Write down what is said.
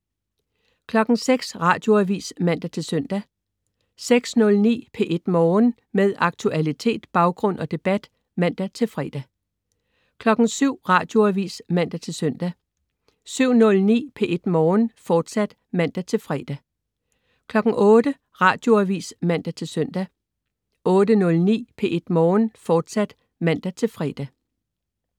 06.00 Radioavis (man-søn) 06.09 P1 Morgen. Med aktualitet, baggrund og debat (man-fre) 07.00 Radioavis (man-søn) 07.09 P1 Morgen, fortsat (man-fre) 08.00 Radioavis (man-søn) 08.09 P1 Morgen, fortsat (man-fre)